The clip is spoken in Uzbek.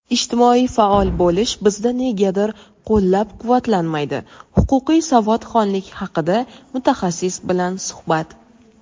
"Ijtimoiy faol bo‘lish bizda negadir qo‘llab-quvvatlanmaydi" –Huquqiy savodxonlik haqida mutaxassis bilan suhbat.